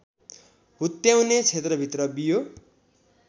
हुत्याउने क्षेत्रभित्र बियो